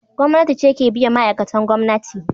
Gwamnati ce ke biyan ma’aikatan gwamnati.